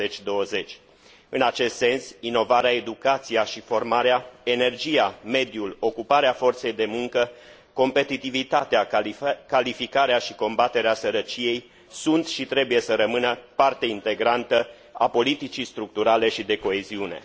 2020. În acest sens, inovarea, educația și formarea, energia, mediul, ocuparea forței de muncă, competitivitatea, calificarea și combaterea sărăciei sunt și trebuie să rămână parte integrantă a politicii structurale și de coeziune.